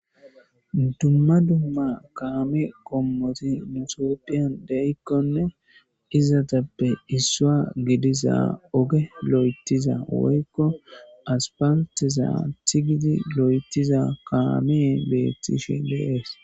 dumma dumma kaame qommoti nu tophiyan deyikkonne izatappe issua gediza oge lo7etiza woykko aspalteza thigidi lo7etiza kaameey beettishe de'ees